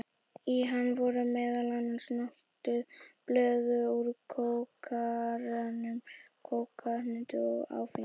Í hann voru meðal annars notuð blöð úr kókarunna, kólahneta og áfengi.